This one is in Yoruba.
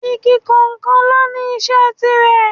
Igi kọ̀ọ̀kan ló ní iṣẹ́ tiirẹ̀